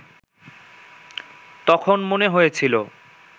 তখন মনে হয়েছিল